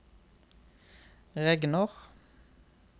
regner